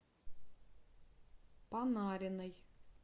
панариной